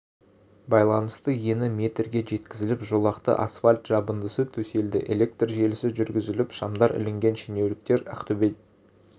байланысты ені метрге жеткізіліп жолақты асфальт жабындысы төселді электр желісі жүргізіліп шамдар ілінген шенеуніктер ақтөбе